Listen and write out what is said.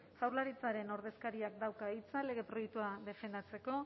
jaurlaritzaren ordezkariak dauka hitza lege proiektua defendatzeko